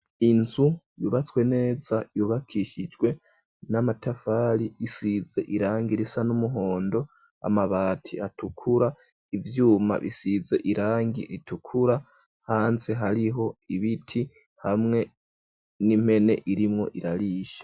Inzu yubatswe neza, yubakishijwe n'amatafari, isize irangi risa n'umuhondo ,amabati atukura ,ivyuma bisize irangi ritukura ,hanze hariho ibiti, hamwe n'impene irimwo irarisha.